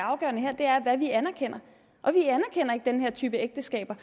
afgørende her er hvad vi anerkender og vi anerkender ikke den her type ægteskaber